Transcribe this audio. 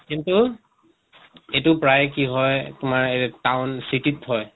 কিন্তু এটো প্ৰায় কি হয় তোমাৰ এ town city ত হয়।